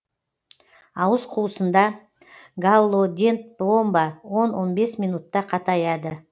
ауыз қуысында галлодент пломба он он бес минутта қатаяды